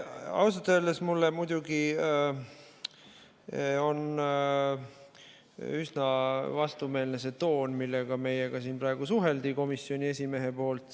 Ausalt öeldes on mulle muidugi üsna vastumeelne see toon, millega praegu komisjoni esimees meiega suhtles.